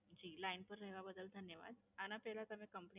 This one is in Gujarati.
જી Line પર રહેવા બદલ ધન્યવાદ. આના પહેલાં તમે Complaint